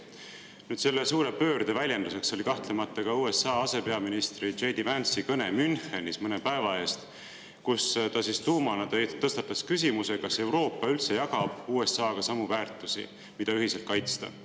Nüüd, selle suure pöörde väljenduseks oli kahtlemata ka USA ase J. D. Vance'i kõne Münchenis mõne päeva eest, kus ta tuumana tõstatas küsimuse, kas Euroopa üldse jagab USA-ga samu väärtusi, mida ühiselt kaitsta.